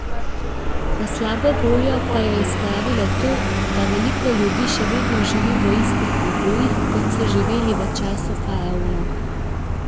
V slabo voljo pa jo je spravilo to, da veliko ljudi še vedno živi v istih pogojih, kot so živeli v času faraonov.